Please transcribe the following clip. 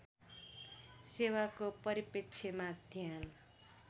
सेवाको परिप्रेक्ष्यमा ध्यान